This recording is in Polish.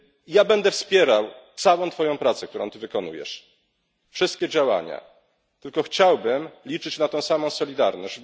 Ja będę wspierał całą twoją pracę, którą ty wykonujesz, wszystkie działania, tylko chciałbym liczyć na tę samą solidarność.